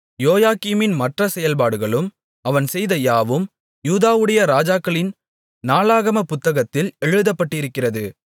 யோயாக்கீமின் மற்ற செயல்பாடுகளும் அவன் செய்த யாவும் யூதாவுடைய ராஜாக்களின் நாளாகமப் புத்தகத்தில் எழுதப்பட்டிருக்கிறது